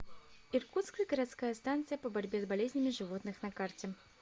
иркутская городская станция по борьбе с болезнями животных на карте